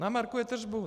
Namarkuje tržbu.